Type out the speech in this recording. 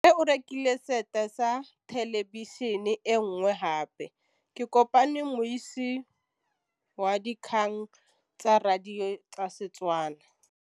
Rre o rekile sete ya thêlêbišênê e nngwe gape. Ke kopane mmuisi w dikgang tsa radio tsa Setswana.